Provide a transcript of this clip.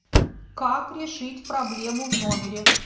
как решить проблему в номере